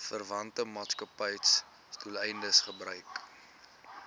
verwante maatskappybesigheidsdoeleindes gebruik